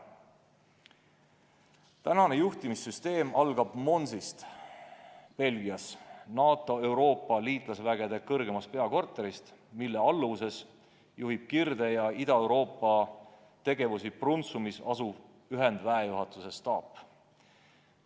Praegune juhtimissüsteem algab Monsist Belgias, NATO Euroopa liitlasvägede kõrgemast peakorterist, mille alluvuses juhib Kirde- ja Ida-Euroopa tegevusi Brunssumis asuv ühendväejuhatuse staap.